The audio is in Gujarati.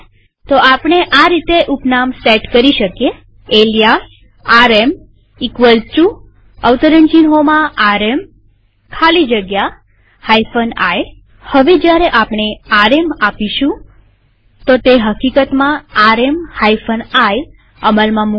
તો આપણે આ રીતે ઉપનામ સેટ કરી શકીએalias rmrm ખાલી જગ્યા i હવે જયારે આપણે આરએમ આપીશુંતે હકીકતમાં આરએમ i અમલમાં મુકશે